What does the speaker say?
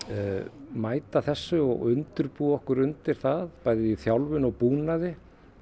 mæta þessu og undirbúa okkur undir það bæði í þjálfun og búnaði